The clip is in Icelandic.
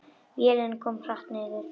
Vélin kom hart niður.